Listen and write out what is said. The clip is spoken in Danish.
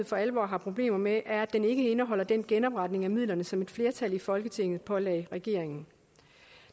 for alvor har problemer med er at den ikke indeholder den genopretning af midlerne som et flertal i folketinget pålagde regeringen